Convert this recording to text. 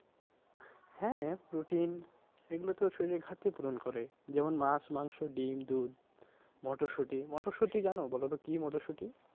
হ্যাঁ protein এগুলো তো শরীরের ঘাটতি পূরণ করে যেমন মাছ, মাংস, ডিম, দুধ, মটরশুঁটি। মটরশুঁটি জানো বলো তো কি মটরশুঁটি?